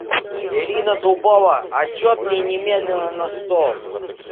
ирина дубова отчет мне немедленно на стол